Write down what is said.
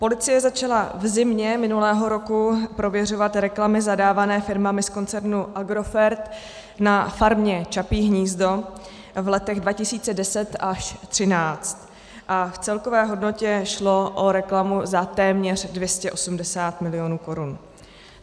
Policie začala v zimě minulého roku prověřovat reklamy zadávané firmami z koncernu Agrofert na Farmě Čapí hnízdo v letech 2010 až 2013 a v celkové hodnotě šlo o reklamu za téměř 280 milionů korun.